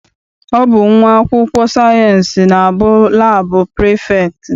Ọ bụ nwa akwụkwọ sayịensị na-abụ laabụ prefektị.